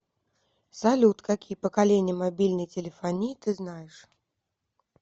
салют какие поколения мобильной телефонии ты знаешь